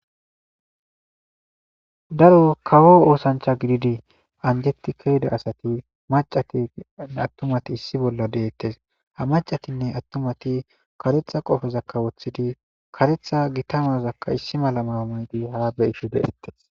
Daro kawo oosancha gididi anjetti kayida asati macatinne attumati issi bolla deettes ha macatinne attumati karetha qofezakkawoththidi karetha gitamazakka issi mala maamadi haa beishu deettes.